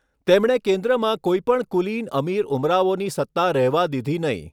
તેમણે કેન્દ્રમાં કોઈ પણ કુલીન અમીર ઉમરાવોની સત્તા રહેવા દીધી નહીં.